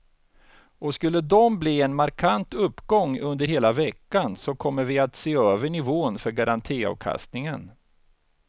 Och skulle de bli en markant uppgång under hela veckan så kommer vi att se över nivån för garantiavkastningen.